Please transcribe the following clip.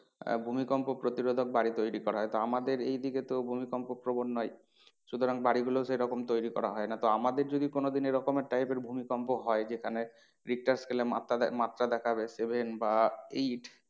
আহ ভূমিকম্প প্রতিরোধক বাড়ি তৈরী করা হয় তো আমাদের এই দিকে তো ভূমিকম্প প্রবন নয় সুতরাং বাড়ি গুলোও সেরকম তৈরী করা হয় না তো আমাদের যদি কোনো দিন এরকম type এর ভূমিকম্প হয় যেখানে richter scale এ মাপটা, মাপটা দেখাবে seven বা eight